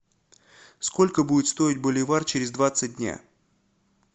сколько будет стоить боливар через двадцать дня